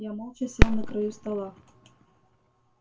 я молча сел на краю стола